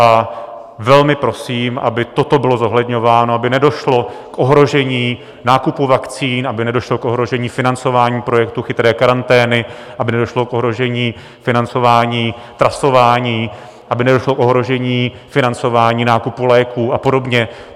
A velmi prosím, aby toto bylo zohledňováno, aby nedošlo k ohrožení nákupu vakcín, aby nedošlo k ohrožení financování projektu Chytré karantény, aby nedošlo k ohrožení financování trasování, aby nedošlo k ohrožení financování nákupu léků a podobně.